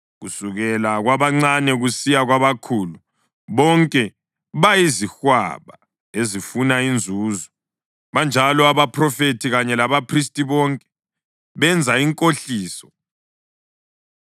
“Kusukela kwabancane kusiya kwabakhulu, bonke bayizihwaba ezifuna inzuzo, banjalo abaphrofethi kanye labaphristi, bonke benza inkohliso.